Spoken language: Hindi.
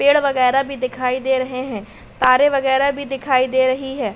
पेड़ वगैरा भी दिखाई दे रहे हैं। तारे वगैरा भी दिखाई दे रही हैं।